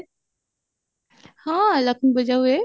ହଁ ଲକ୍ଷ୍ମୀ ପୂଜା ହୁଏ